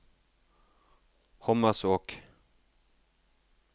Hommersåk